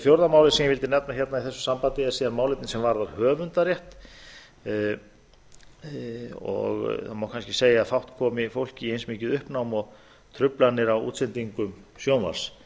fjórða málið sem ég vildi nefna hérna í þessu sambandi er síðan málefni sem varðar höfundarétt og það má kannski segja að fátt komi fólki í eins mikið uppnám og truflanir á útsendingum sjónvarps